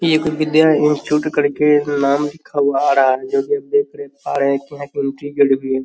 एक विद्या इंस्टिट्यूट करके नाम लिखा हुआ आ रहा है जो की आप देख पा रहे हैं है।